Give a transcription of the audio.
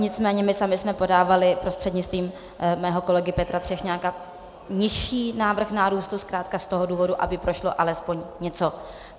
Nicméně my sami jsme podávali prostřednictvím mého kolegy Petra Třešňáka nižší návrh nárůstu zkrátka z toho důvodu, aby prošlo alespoň něco.